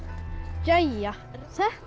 jæja þetta er